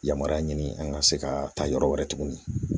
Yamariya ɲini an ka se ka taa yɔrɔ wɛrɛ tuguni